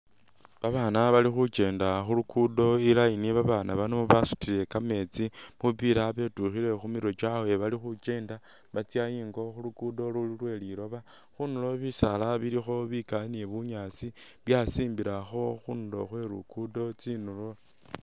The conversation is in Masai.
Babaana bali khukyenda khulugudo i'line, babaana bano basutile kameetsi bupila betyukhile khumirwe kyabwe bali khukyenda batsya ingo khulugudo luli lwe liloba, khundulo bisaala bilikho bikali ni bunyaasi byasimbilakho khundulo khwe lugudo tsindulo